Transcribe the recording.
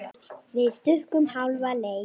Við stukkum hálfa leið.